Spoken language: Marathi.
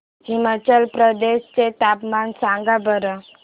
हिमाचल प्रदेश चे तापमान सांगा बरं